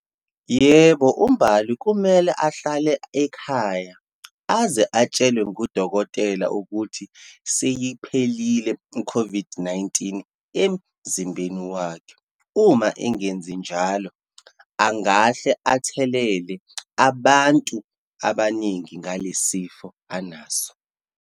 Yebo, uMbali kumele ahlale ekhaya, aze atshelwe ngudokotela ukuthi seyiphelile i-COVID-19 emzimbeni wakhe. Uma engenzi njalo, angahle athelele abantu abaningi ngalesi sifo anaso.